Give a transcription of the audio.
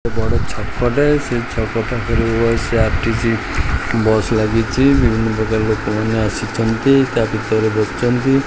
ଗୋଟେ ବଡ ଛକ ଟେ ସେଇ ଛକ ପାଖରୁ ଓ ସେଇ ଆର୍_ଟି_ଜି ବସ ଲାଗିଚି ବିଭିନ୍ନ ପ୍ରକାର ଲୋକମାନେ ଆସିଚନ୍ତି ତା ଭିତରେ ବସିଚନ୍ତି।